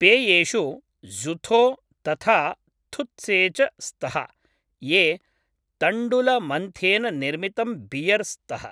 पेयेषु ज़ुथो तथा थुत्से च स्तः, ये तण्डुलमन्थेन निर्मितम् बियर् स्तः।